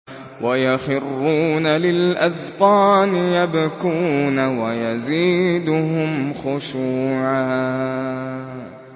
وَيَخِرُّونَ لِلْأَذْقَانِ يَبْكُونَ وَيَزِيدُهُمْ خُشُوعًا ۩